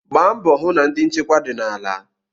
Gbaa mbọ hụ na ndi nchekwa dị n'ala.